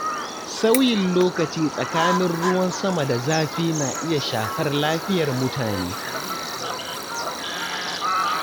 Sauyin lokaci tsakanin ruwan sama da zafi na iya shafar lafiyar mutane.